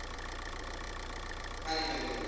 હા દીપેન ભાઈ